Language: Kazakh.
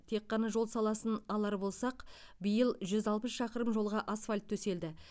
тек қана жол саласын алар болсақ биыл жүз алпыс шақырым жолға асфальт төселді